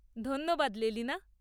ধন্যবাদ লেলিনা।